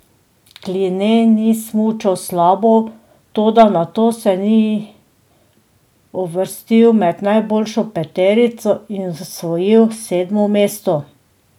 Kline ni smučal slabo, toda nato se ni uvrstil med najboljšo peterico in osvojil sedmo mesto.